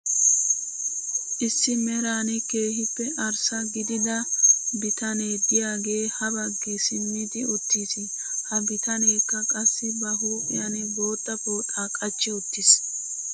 Issi meran keehippe arssa gidida biyanee diyaagee habaggi simmidi uttis. He bitaneekka qassi ba huuphphiyan bootta pooxaa qachchi uttis .